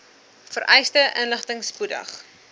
vereiste inligting spoedig